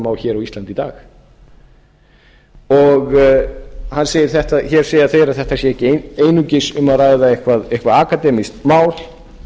á hér á íslandi í dag hér segja þeir að þetta sé ekki einungis um að ræða eitthvert akademískt mál